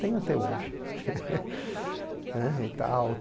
Tenho até hoje. né e tal